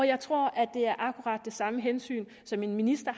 jeg tror det er akkurat det samme hensyn som en minister